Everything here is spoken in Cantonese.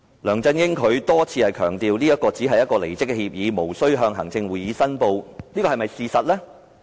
梁振英多番強調，這只是一份離職協議，無須向行政會議申報，這是否事實？